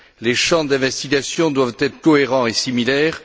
Les champs d'investigation doivent être cohérents et similaires.